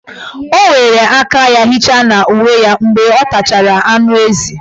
O were aka ya hicha n' uwe ya mgbe ọ tachara anụezi.